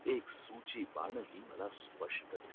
एक सूची बाणही मला स्पष्ट दिसतोय